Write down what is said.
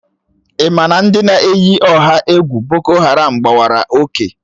Ị ma na ndị na-eyi ọha egwu boko haram gbawara oke